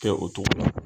Kɛ o cogo la